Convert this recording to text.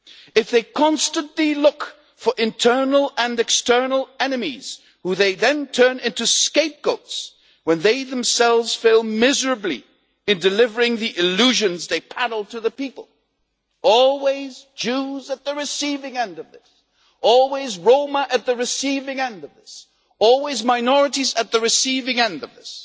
if they constantly look for internal and external enemies who they then turn into scapegoats when they themselves fail miserably in delivering the illusions they peddled to the people always Jews at the receiving end of this, always Roma at the receiving end of this, always minorities at the receiving end of this